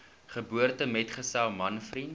geboortemetgesel man vriend